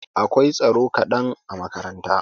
Akwai tsaro kadan a makaranta.